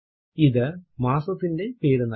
ഇത് മാസത്തിന്റെ പേരു നൽകുന്നു